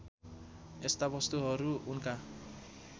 यस्ता वस्तुहरू उनका